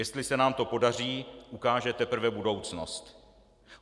Jestli se nám to podaří, ukáže teprve budoucnost.